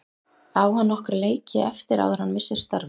Á hann nokkra leiki eftir áður en hann missir starfið?